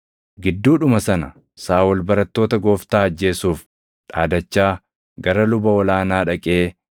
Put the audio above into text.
Gidduudhuma sana Saaʼol barattoota Gooftaa ajjeesuuf dhaadachaa gara luba ol aanaa dhaqee,